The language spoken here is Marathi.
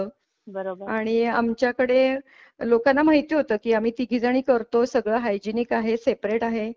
बरोबर आणि आमच्याकडे लोकांना माहिती होतं की आम्ही तिघी जणी करतो सगळा हायजिनिक आहे सेपरेट आहे.